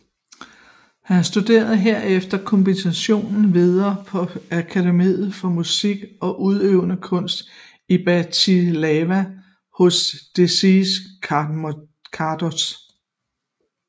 Han studerede herefter komposition videre på Akademiet for Musik og Udøvende Kunst i Bratislava hos Dezider Kardoš